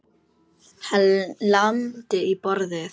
Hann lamdi í borðið.